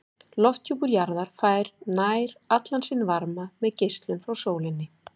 Lofthjúpur jarðar fær nær allan sinn varma með geislun frá sólinni.